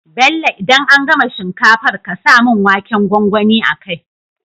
Bello idan an gama shinkafar ƙasa mun waken gwangwani a kai